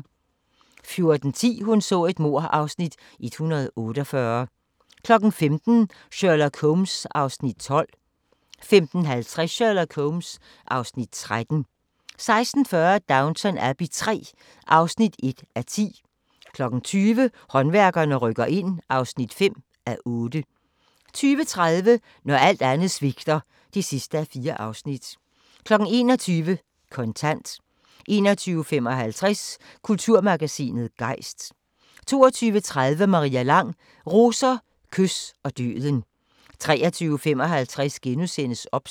14:10: Hun så et mord (Afs. 148) 15:00: Sherlock Holmes (Afs. 12) 15:50: Sherlock Holmes (Afs. 13) 16:40: Downton Abbey III (1:10) 20:00: Håndværkerne rykker ind (5:8) 20:30: Når alt andet svigter (4:4) 21:00: Kontant 21:55: Kulturmagasinet Gejst 22:30: Maria Lang: Roser, kys og døden 23:55: OBS *